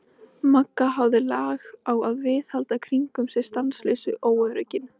Magga hafði lag á að viðhalda kringum sig stanslausu óöryggi.